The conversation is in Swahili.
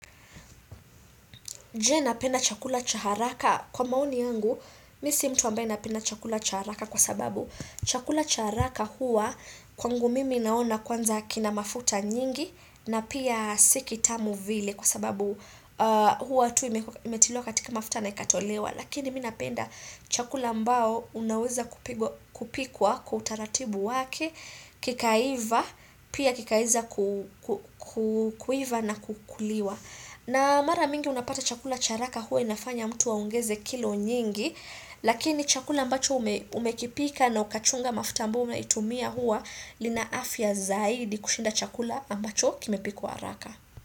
Je napenda chakula cha haraka kwa maoni yangu, mi si mtu ambaye napenda chakula cha haraka kwa sababu chakula cha haraka huwa kwangu mimi naona kwanza kina mafuta nyingi na pia si kitamu vile kwa sababu huwa tu imetolewa katika mafuta na ikatolewa. Lakini mi napenda chakula ambao unaweza kupikwa kwa utaratibu wake, kikaiva, pia kikaweza kuiva na kukuliwa. Na mara mingi unapata chakula cha haraka huwa inafanya mtu wa aongeze kilo nyingi, lakini chakula ambacho umekipika na ukachunga mafuta ambayo inaitumia huwa ina afya zaidi kushinda chakula ambacho kimepikwa haraka.